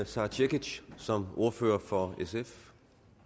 sara cekic som ordfører for sf